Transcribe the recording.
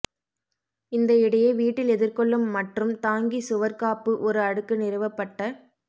இந்த இடையே வீட்டில் எதிர்கொள்ளும் மற்றும் தாங்கி சுவர் காப்பு ஒரு அடுக்கு நிறுவப்பட்ட